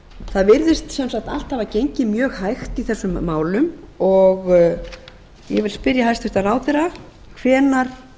það virðist sem sagt allt hafa gengið mjög hægt í þessum málum og ég vil spyrja hæstvirtan ráðherra hvenær